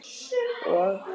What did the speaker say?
Og?